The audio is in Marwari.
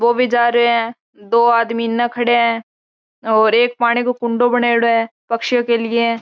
बो भी जा रहे है दो आदमी इन खड़े है और एक पानी को कुंडो बनोडो है पछियों के लिए।